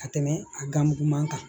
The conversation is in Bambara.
Ka tɛmɛ a ganmugu man kan